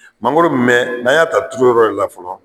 Mangoro mɛn n'an y'a ta a turu yɔrɔ yɛrɛ la fɔlɔ